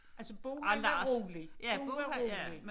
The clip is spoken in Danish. Altså Bo han var rolig Bo var rolig